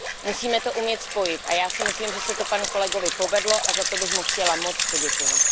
Musíme to umět spojit a já si myslím, že se to panu kolegovi povedlo, a za to bych mu chtěla moc poděkovat.